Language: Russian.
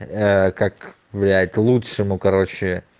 как блять лучше ну короче